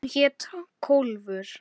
Hún hét Kólfur.